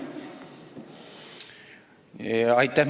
Aitäh!